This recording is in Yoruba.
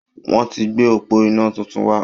Wọ́n ti gbé òpó iná tuntun wá.